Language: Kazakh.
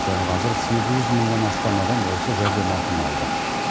дәл қазір сегіз жүз мыңнан астам адам осы жәрдемақыны алды